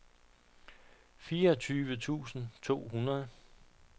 fireogtyve tusind to hundrede